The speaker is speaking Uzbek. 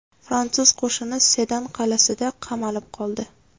Fransuz qo‘shini Sedan qal’asida qamalib qoldi.